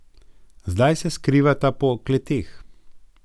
Zdaj se skrivata po kleteh.